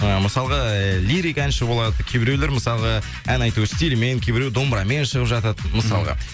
ы мысалға лирик әнші болады кейбіреулер мысалға ән айту стилімен кейбіреу домбырамен шығап жатады мысалға